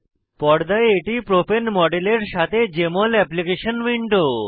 পর্দায় এটি প্রোপেন মডেলের সাথে জেএমএল অ্যাপ্লিকেশন উইন্ডো